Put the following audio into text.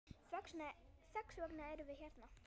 Þess vegna erum við hérna!